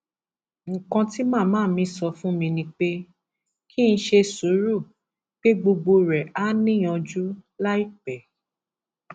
nǹkan tí màmá mi sọ fún mi ni pé kí n ṣe sùúrù pé gbogbo rẹ áà níyànjú láìpẹ